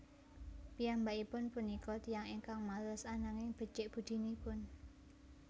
Piyambakipun punika tiyang ingkang males ananging becik budinipun